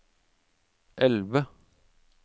elve